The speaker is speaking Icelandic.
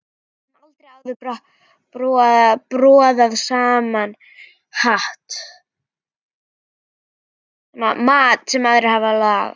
Höfum aldrei áður borðað saman mat sem aðrir hafa lagað.